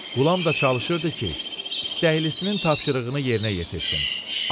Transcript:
Qulam da çalışırdı ki, istəklisinin tapşırığını yerinə yetirsin.